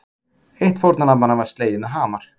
Eitt fórnarlambanna var slegið með hamar